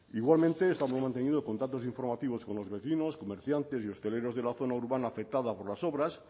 igualmente estamos manteniendo contactos informativos con los vecinos comerciantes y hosteleros de la zona urbana afectada por las obras